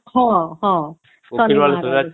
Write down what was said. ହଁ ହଁ ଶନିବାର ଆସିଚେ